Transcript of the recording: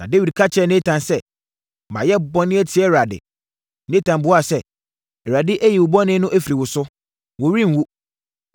Na Dawid ka kyerɛɛ Natan sɛ, “Mayɛ bɔne atia Awurade.” Natan buaa sɛ, “ Awurade ayi wo bɔne no afiri wo so. Worenwu.